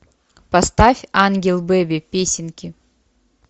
поставь ангел бэби песенки